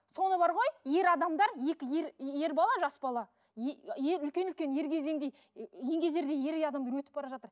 соны бар ғой ер адамдар екі ер ер бала жас бала ер үлкен үлкен еңгезердей ер ер адамдар өтіп бара жатыр